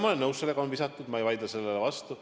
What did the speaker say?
Ma olen nõus, et on visatud, ma ei vaidle sellele vastu.